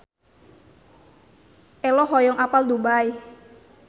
Ello hoyong apal Dubai